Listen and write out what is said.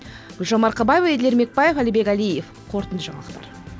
гүлжан марқабаева еділ ермекбаев әлібек әлиев қорытынды жаңалықтар